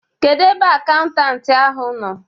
Kedu ebe akaụntanti ahụ nọ?